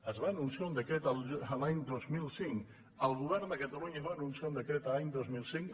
es va anunciar un decret l’any dos mil cinc el govern de catalunya va anunciar un decret l’any dos mil cinc